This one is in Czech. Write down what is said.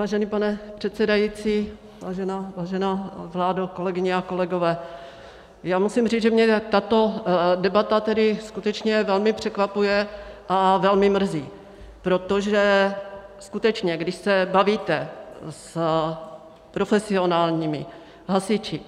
Vážený pane předsedající, vážená vládo, kolegyně a kolegové, já musím říct, že mě tato debata tedy skutečně velmi překvapuje a velmi mrzí, protože skutečně když se bavíte s profesionálními hasiči,